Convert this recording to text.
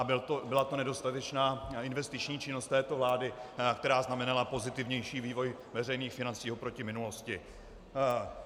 A byla to nedostatečná investiční činnost této vlády, která znamenala pozitivnější vývoj veřejných financí oproti minulosti.